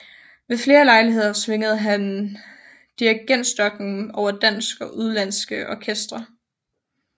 Ved flere lejligheder svingede han dirigentstokken over danske og udenlandske orkestre